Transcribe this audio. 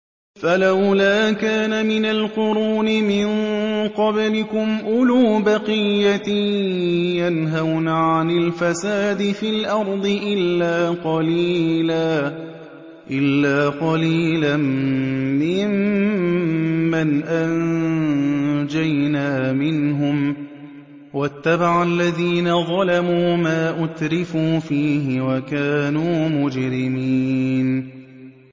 فَلَوْلَا كَانَ مِنَ الْقُرُونِ مِن قَبْلِكُمْ أُولُو بَقِيَّةٍ يَنْهَوْنَ عَنِ الْفَسَادِ فِي الْأَرْضِ إِلَّا قَلِيلًا مِّمَّنْ أَنجَيْنَا مِنْهُمْ ۗ وَاتَّبَعَ الَّذِينَ ظَلَمُوا مَا أُتْرِفُوا فِيهِ وَكَانُوا مُجْرِمِينَ